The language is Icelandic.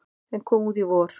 sem kom út í vor.